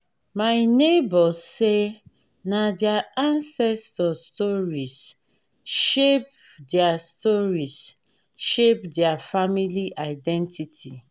my nebor say na their ancestors stories shape their stories shape their family identity